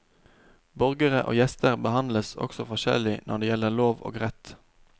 Borgere og gjester behandles også forskjellig når det gjelder lov og rett.